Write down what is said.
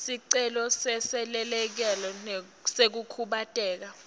sicelo seselekelelo sekukhubateka